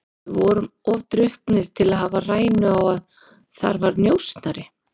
Við vorum of drukknir til að hafa rænu á að þar var njósnari.